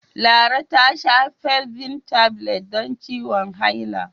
Lara ta sha Felvin Tablets don ciwon haila.